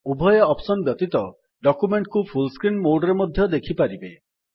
ଉଭୟ ଅପ୍ସନ୍ ବ୍ୟତୀତ ଡକ୍ୟୁମେଣ୍ଟ୍ କୁ ଫୁଲ୍ ସ୍କ୍ରିନ୍ ମୋଡ୍ ରେ ମଧ୍ୟ ଦେଖିପାରିବେ